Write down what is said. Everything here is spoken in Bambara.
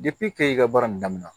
kɛ i ka baara in daminɛ